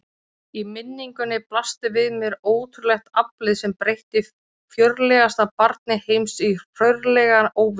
Í minningunni blasti við mér ótrúlegt aflið sem breytti fjörlegasta barni heims í hrörlegan óvita.